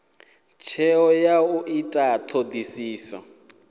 tsheo ya u ita thodisiso